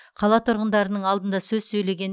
қала тұрғындарының алдында сөз сөйлеген